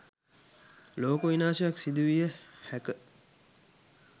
ලෝක විනාශයක් සිදුවිය හැක